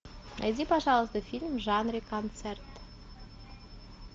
найди пожалуйста фильм в жанре концерт